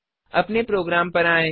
अपने प्रोग्राम पर आएँ